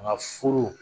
Nka furu